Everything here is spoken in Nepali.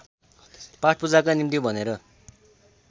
पाठपूजाका निम्ति भनेर